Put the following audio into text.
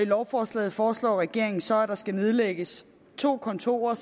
lovforslaget foreslår regeringen så at der skal nedlægges to kontorer